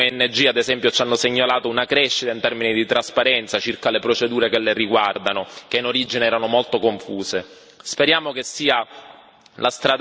Qualche cosa è migliorata nel frattempo alcune ONG, ad esempio, ci hanno segnalato una crescita in termini di trasparenza circa le procedure che le riguardano, che in origine erano molto confuse.